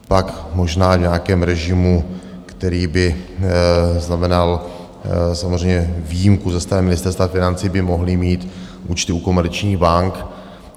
Pak možná v nějakém režimu, který by znamenal samozřejmě výjimku ze strany Ministerstva financí, by mohly mít účty u komerčních bank.